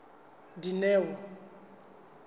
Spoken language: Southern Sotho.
dineo